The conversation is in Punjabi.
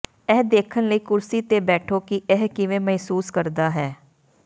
ਇਹ ਦੇਖਣ ਲਈ ਕੁਰਸੀ ਤੇ ਬੈਠੋ ਕਿ ਇਹ ਕਿਵੇਂ ਮਹਿਸੂਸ ਕਰਦਾ ਹੈ